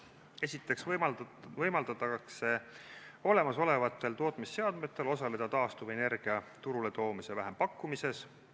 Esiteks võimaldatakse olemasolevatel tootmisseadmetel osaleda taastuvenergia turule toomise vähempakkumises.